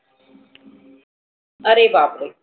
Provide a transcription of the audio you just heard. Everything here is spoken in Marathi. आरे बाप रे.